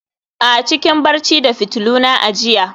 a, cikin barci da fitiluna a jiya